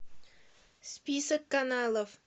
список каналов